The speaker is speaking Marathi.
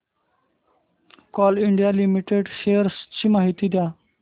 कोल इंडिया लिमिटेड शेअर्स ची माहिती द्या